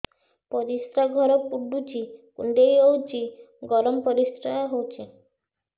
ପରିସ୍ରା ଘର ପୁଡୁଚି କୁଣ୍ଡେଇ ହଉଚି ଗରମ ପରିସ୍ରା ହଉଚି